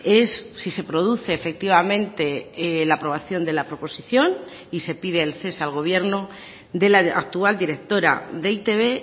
es sí se produce efectivamente la aprobación de la proposición y se pide el cese al gobierno de la actual directora de e i te be